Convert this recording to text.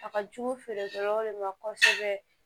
A ka jugu feerekɛlaw de ma kosɛbɛ